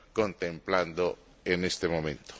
contemplando en este momento?